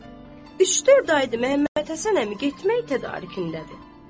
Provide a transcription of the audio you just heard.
Pəs, üç-dörd aydır Məhəmməd Həsən əmi getmək tədarükündədir.